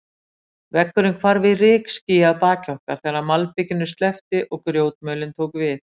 Vegurinn hvarf í rykský að baki okkar, þegar malbikinu sleppti og grjótmölin tók við.